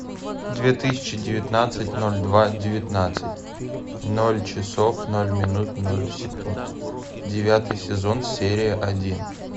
две тысячи девятнадцать ноль два девятнадцать ноль часов ноль минут ноль секунд девятый сезон серия один